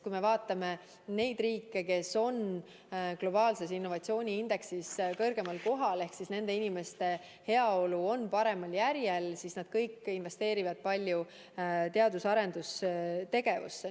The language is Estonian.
Kui me vaatame neid riike, kes on globaalse innovatsiooniindeksi tabelis kõrgemal kohal ehk kus elavate inimeste heaolu on parem, siis näeme, et nad kõik investeerivad palju teadus- ja arendustegevusse.